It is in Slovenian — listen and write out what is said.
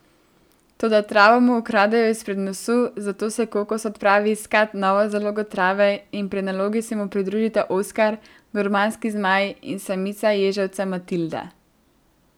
Toda travo mu ukradejo izpred nosu, zato se Kokos odpravi iskati novo zalogo trave in pri nalogi se mu pridružita Oskar, gurmanski zmaj, in samica ježevca Matilda.